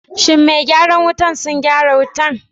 shin me gyaran wutan sun gyaran wutan?